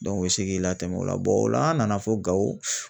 u bi se k'i latɛmɛ o la o la an nana fo Gawo